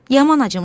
Yaman acımışam.